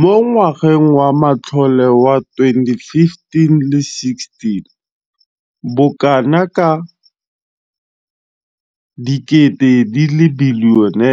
Mo ngwageng wa matlole wa 2015,16, bokanaka R5 703 bilione